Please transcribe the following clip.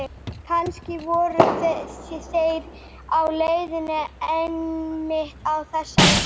Kannski voru þeir á leiðinni einmitt á þessari stundu.